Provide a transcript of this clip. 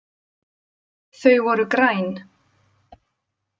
Þau voru græn.